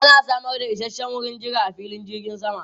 Ana samar da isasshen wurin jira a filin jirgin sama.